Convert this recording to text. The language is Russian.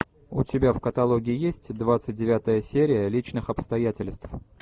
у тебя в каталоге есть двадцать девятая серия личных обстоятельств